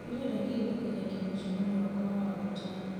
ndĩrenda kĩririkania kĩa mũcemanio wakwa wa wagatano